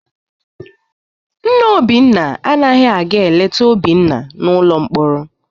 Nna Obinna anaghị aga eleta Obinna n'ụlọ mkpọrọ.